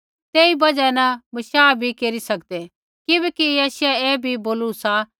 तेई बजहा न बशाह भी केरी सकदै किबैकि यशायाहे ऐ भी बोलू सा